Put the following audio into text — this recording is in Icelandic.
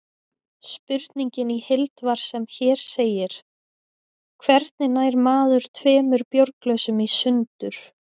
Spurningin í heild var sem hér segir: Hvernig nær maður tveimur bjórglösum í sundur?